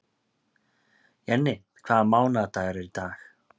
Jenni, hvaða mánaðardagur er í dag?